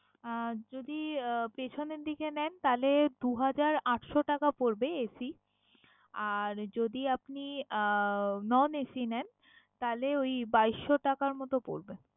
আহ যদি আহ পেছনের দিকে নেন তাহলে দু হাজার আটশো টাকা পরবে AC আর যদি আপনি আহ non AC নেন তাইলে ওই বাইশ টাকার মতো পরবে।